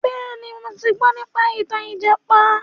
Bẹ́ẹ̀ni, mo ti gbọ nípa ìtàn ìjàpá.